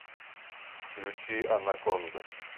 включи анаконда